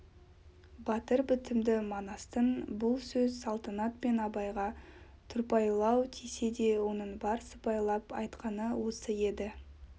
батыр бітімді манастың бұл сөз салтанат пен абайға тұрпайылау тисе де оның бар сыпайылап айтқаны осы еді